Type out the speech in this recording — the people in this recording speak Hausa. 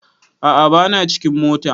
A'a ba na cikin mota